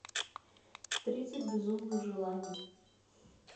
тридцать безумных желаний